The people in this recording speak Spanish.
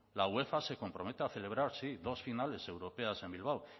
la uefa se compromete a celebrar sí dos finales europeas en bilbao